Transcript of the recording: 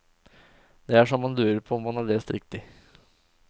Det er så man lurer på om man har lest riktig.